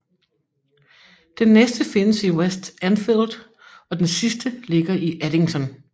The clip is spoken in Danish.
Den næste findes i West Enfield og den sidste ligger i Eddington